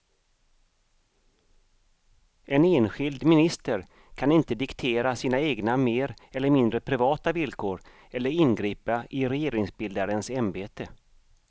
En enskild minister kan inte diktera sina egna mer eller mindre privata villkor eller ingripa i regeringsbildarens ämbete.